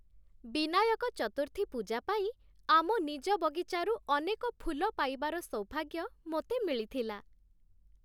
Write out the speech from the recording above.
ବିନାୟକ ଚତୁର୍ଥୀ ପୂଜା ପାଇଁ ଆମ ନିଜ ବଗିଚାରୁ ଅନେକ ଫୁଲ ପାଇବାର ସୌଭାଗ୍ୟ ମୋତେ ମିଳିଥିଲା।